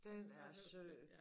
Den er sød